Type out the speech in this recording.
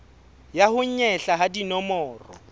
ya ho nyehla ha dinomoro